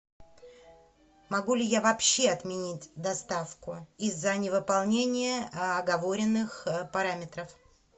могу ли я вообще отменить доставку из за невыполнения оговоренных параметров